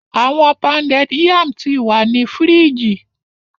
Awọn pounded yam ti wa ni fidge